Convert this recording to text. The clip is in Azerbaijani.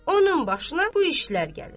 Onun başına bu işlər gəlir.